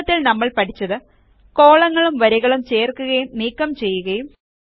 ചുരുക്കത്തിൽ നമ്മൾ പഠിച്ചത് കോളങ്ങളും വരികളും ചേർക്കുകയും നീക്കം ചെയ്യുകയും